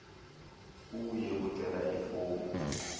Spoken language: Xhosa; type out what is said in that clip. uye kucela ifomu